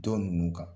Dɔn ninnu kan